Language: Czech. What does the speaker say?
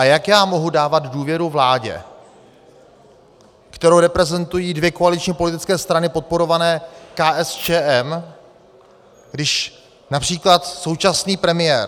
A jak já mohu dávat důvěru vládě, kterou reprezentují dvě koaliční politické strany podporované KSČM, když například současný premiér...